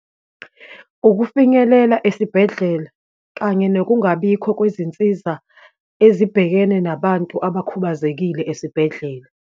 Ukufinyelela esibhedlela, kanye nokungabikho kwezinsiza ezibhekene nabantu abakhubazekile esibhedlela.